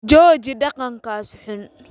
Jooji dhaqankaas xun